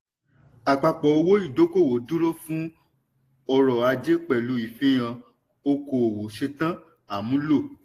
àpapọ̀ owó ìdọ́kowọ̀ dúró fún ọrọ̀ ajé pẹ̀lú ìfihàn okòowò ṣetán àmúlò.